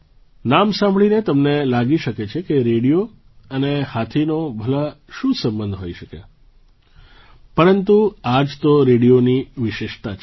નામ સાંભળીને તમને લાગી શકે છે કે રેડિયો અને હાથીનો ભલા શું સંબંધ હોઈ શકે પરંતુ આ જ તો રેડિયોની વિશેષતા છે